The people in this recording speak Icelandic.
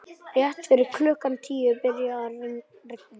Rétt fyrir klukkan tíu byrjaði að rigna.